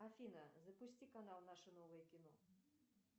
афина запусти канал наше новое кино